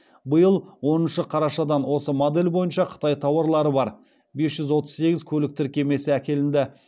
биыл оныншы қарашадан осы модель бойынша қытай тауарлары бар бес жүз отыз сегіз көлік тіркемесі әкелінді